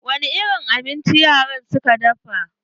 Wani irin abinci yaran suka dafa?